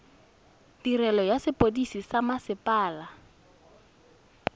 tirelo ya sepodisi sa mmasepala